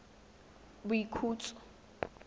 boikhutso